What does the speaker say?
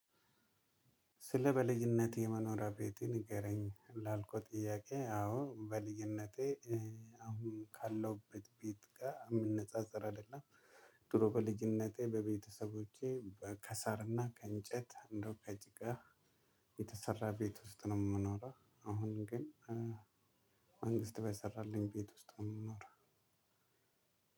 ስለ በልጅነቴ የምኖረው ቤቴን ንገረኝ ላልኩት ጥያቄ አዎ በልጅነቴ አሁን ካለሁበት ቤት ጋ እምነጻጸር አይደለም። ድሮ በልጅነቴ በቤተሰቦቼ ከሳር እና ከእንጨት እንዲሁም ከጭቃ የተሰራ ቤት ውስጥ ነው የምኖረው። አሁን ግን መንግስት በሰራልኝ ቤት ውስጥ ነው ምኖረው።